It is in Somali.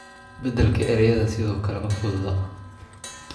Beddelka erayada sidoo kale ma fududa